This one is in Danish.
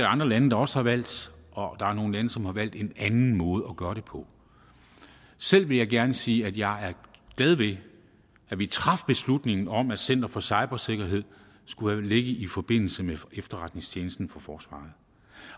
andre lande der også har valgt og der er nogle lande som har valgt en anden måde at gøre det på selv vil jeg gerne sige at jeg er glad ved at vi traf beslutningen om at center for cybersikkerhed skulle ligge i forbindelse med efterretningstjenesten for forsvaret